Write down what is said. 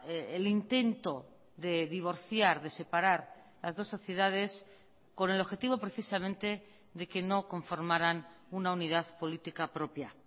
el intento de divorciar de separar las dos sociedades con el objetivo precisamente de que no conformaran una unidad política propia